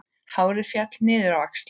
Hárið féll niður á axlir.